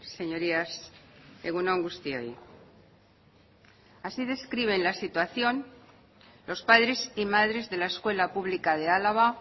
señorías egun on guztioi así describen la situación los padres y madres de la escuela pública de álava